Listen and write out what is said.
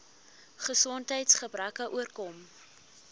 gesondheids gebreke oorkom